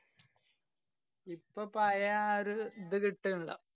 ഇപ്പോ പഴയ ആ ഒരു ഇത് കിട്ടന്‍ല്ലാ.